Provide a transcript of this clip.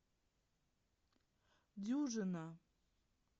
дюжина